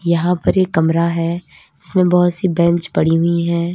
यहां पर एक कमरा है इसमें बहोत सी बैंच पड़ी हुई है।